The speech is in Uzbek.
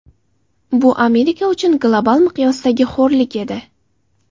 Bu Amerika uchun global miqyosdagi xo‘rlik edi.